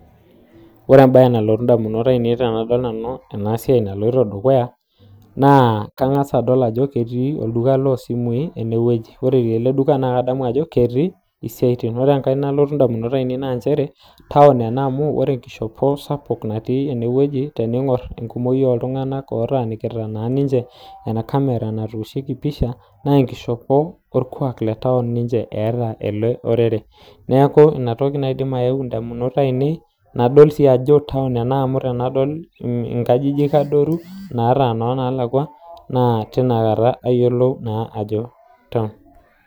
ore embaye naadoltu ndamunot ainei naa kadolita ajo olduka ele loo simui ore enkae naa kadolita ajo town ena amuu ore enkishopo natii ene ashu nadolita naa enkishopo orkuak leme oliang , town sii amuukelioo nkajijik aadoru sapukin naa kitodolu ina nkae